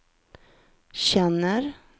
känner